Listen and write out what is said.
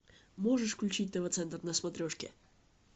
можешь включить тв центр на смотрешке